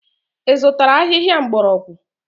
Ị zụtara ahịhịa mgbọrọgwụ?